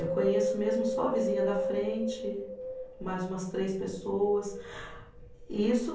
Eu conheço mesmo só a vizinha da frente, mais umas três pessoas. E isso